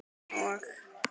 Hann og